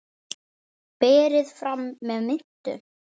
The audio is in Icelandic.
Berið fram með mintu.